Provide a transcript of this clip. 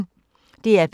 DR P1